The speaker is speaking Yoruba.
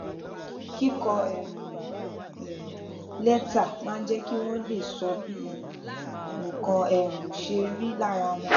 kíkọ um létà máa ń jé kí wón lè sọ bí nǹkan um ṣe rí lára wọn